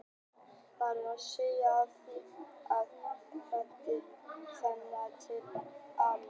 Það er að segja frá því að hann fæddist og þangað til að hann dó.